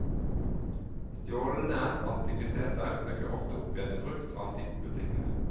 Stjålne antikviteter dukker ofte opp igjen i brukt og antikbutikker.